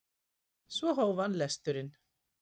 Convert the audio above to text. Svo hóf hann lesturinn.